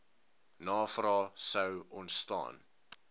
navrae sou ontstaan